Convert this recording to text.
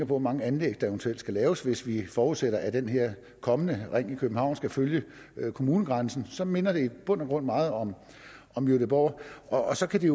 hvor mange anlæg der eventuelt skal laves hvis vi forudsætter at den her kommende ring i københavn skal følge kommunegrænsen så minder det i bund og grund meget om om gøteborg og så kan det